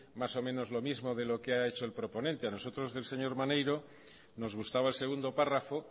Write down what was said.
más o menos lo mismo de lo que ha hecho el proponente a nosotros del señor maneiro nos gustaba el segundo párrafo